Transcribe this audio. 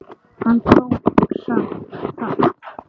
Hann tók samt þátt.